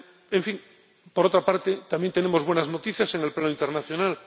En fin, por otra parte, también tenemos buenas noticias en el plano internacional.